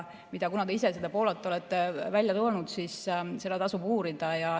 Kuna te ise seda Poolat olete välja toonud, siis seda tasub uurida.